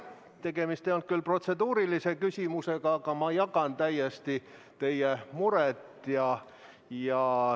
Tegemist ei olnud küll protseduurilise küsimusega, aga ma jagan täiesti teie muret.